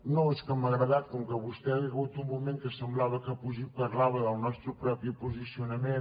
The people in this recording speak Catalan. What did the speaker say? no és que m’ha agradat com que vostè hi ha hagut un moment que semblava que parlava del nostre propi posicionament